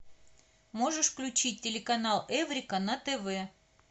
можешь включить телеканал эврика на тв